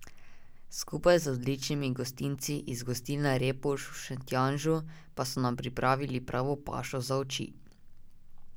Skupaj z odličnimi gostinci iz Gostilne Repovž v Šentjanžu pa so nam pripravili pravo pašo za oči.